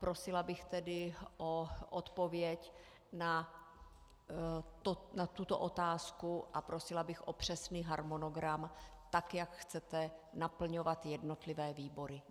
Prosila bych tedy o odpověď na tuto otázku a prosila bych o přesný harmonogram tak, jak chcete naplňovat jednotlivé výbory.